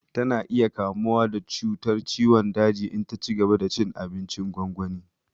Tana iya kamuwa da cutar ciwon daji in ta cigaba da cin abincin gwangwani